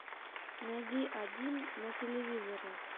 найди один на телевизоре